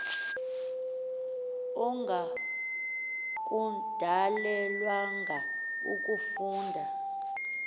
ongaku dalelwanga ukufunda